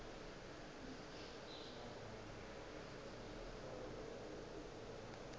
ke ge ba šetše ba